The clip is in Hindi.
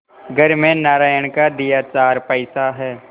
घर में नारायण का दिया चार पैसा है